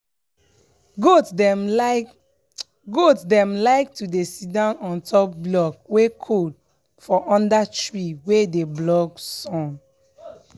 goat dem like goat dem like to dey sidon ontop block wey cold for under tree wey dey block sun.